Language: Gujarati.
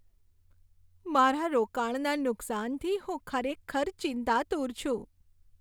મારા રોકાણના નુકસાનથી હું ખરેખર ચિંતાતુર છું.